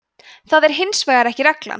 það er hins vegar ekki reglan